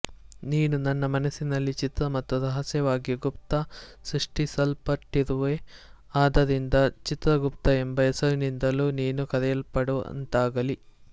ನೀನು ನನ್ನ ಮನಸ್ಸಿನಲ್ಲಿ ಚಿತ್ರ ಮತ್ತು ರಹಸ್ಯವಾಗಿ ಗುಪ್ತ ಸೃಷ್ಟಿಸಲ್ಪಟ್ಟಿರುವೆ ಆದ್ದರಿಂದ ಚಿತ್ರಗುಪ್ತ ಎಂಬ ಹೆಸರಿನಿಂದಲೂ ನೀನು ಕರೆಯಲ್ಪಡುವಂತಾಗಲಿ